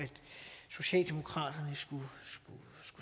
socialdemokraterne skulle